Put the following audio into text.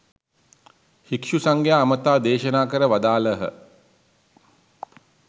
භික්ෂු සංඝයා අමතා දේශනා කර වදාළහ.